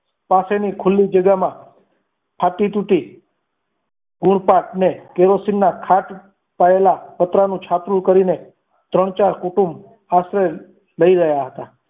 પાસેની ખુલ્લી જગ્યામાં ફાટી તૂટી ગુણ પાકને કેરોસીનના ખાટ પાયેલા પતરા નું છાપરું કરીને ત્રણ ચાર કુટુંબ આશ્રય લઈ રહ્યા હતા.